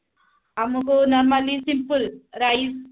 ଆମକୁ normally simple rice